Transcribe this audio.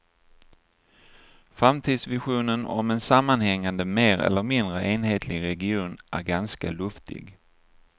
Framtidsvisionen om en sammanhängande mer eller mindre enhetlig region är ganska luftig.